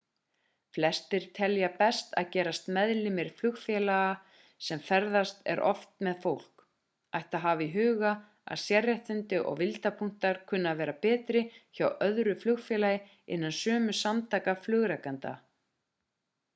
flestir telja best að gerast meðlimir flugfélaga sem ferðast er oftast með en fólk ætti að hafa í huga að sérréttindi og vildarpunktar kunna að vera betri hjá öðru flugfélagi innan sömu samtaka flugrekenda